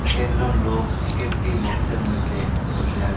এক এক জন লোক একেকটি বক্সের মধ্যে বসে আছে।